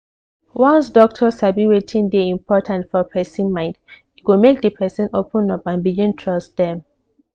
once doctor sabi wetin dey important for person mind e go make the person open up and begin trust dem.